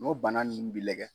N'o bana ninnu bɛ lagɛ